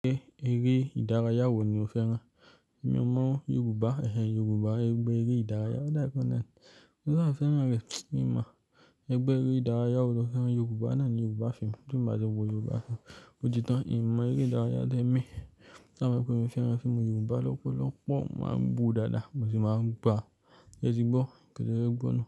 Ṣé eré ìdárayá wo ni o fẹ́ rán? Mo mọ Yorùbá, ẹ̀hẹn Yorùbá, ẹgbẹ́ eré ìdárayá ọ̀dà kan náà. Nígbà tí a fẹ́ rán rẹ̀, mi mọ, ẹgbẹ́ eré ìdárayá wo lo fẹ́ rán Yorùbá náà ní Yorùbá fíìmù, fíìmù àjọpọ̀ Yorùbá fún ojú tán, kí í mọ eré ìdárayá dé ẹ̀mí. Ṣàwọn ọkùnrin fẹ́ rán fíìmù Yorùbá lọ́pọ̀lọ́pọ̀ máa ń wo dada máa sì máa ń gbá, ẹ ti gbọ́, kí ẹ gbọ́ nù.